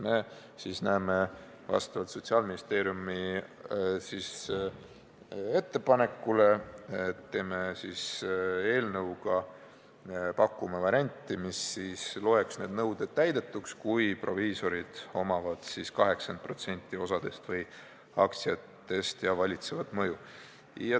Me pakume vastavalt Sotsiaalministeeriumi ettepanekule varianti, et need nõuded loetakse täidetuks, kui proviisorid omavad vähemalt 80% osadest või aktsiatest ja neil on valitsev mõju.